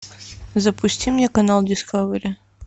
запусти мне канал дискавери